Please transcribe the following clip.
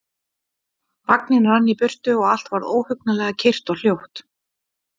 Vagninn rann í burtu og allt varð óhugnanlega kyrrt og hljótt.